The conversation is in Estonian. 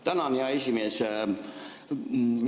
Tänan, hea esimees!